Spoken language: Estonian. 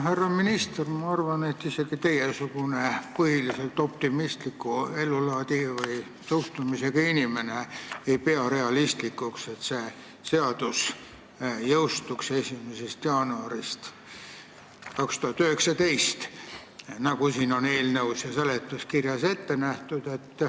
Härra minister, ma arvan, et isegi teiesugune põhiliselt optimistliku ellusuhtumisega inimene ei pea realistlikuks, et see seadus jõustub 1. jaanuaril 2019, nagu on eelnõus ja seletuskirjas ette nähtud.